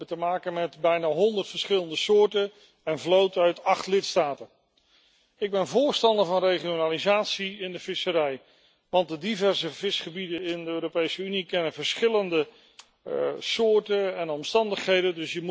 We hebben te maken met bijna 100 verschillende soorten, en vloten uit acht lidstaten. Ik ben voorstander van regionalisatie in de visserij, want de diverse visgebieden in de Europese Unie kennen verschillende soorten en omstandigheden.